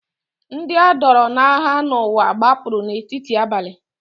Ndị a dọọrọ n’agha n’ụwa gbapụrụ n’etiti abalị.